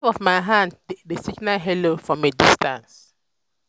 a wave of my hand dey signal "hello" from a distance.